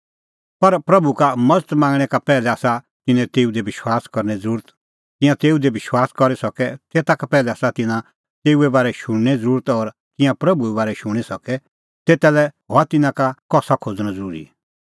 पर प्रभू का मज़त मांगणैं का पैहलै आसा तिन्नां तेऊ दी विश्वास करने ज़रुरत तिंयां तेऊ दी विश्वास करी सके तेता का पैहलै आसा तिन्नां तेऊए बारै शुणने ज़रुरत और तिंयां प्रभूए बारै शूणीं सके तेता लै हुअ तिन्नां का कसा खोज़णअ ज़रूरी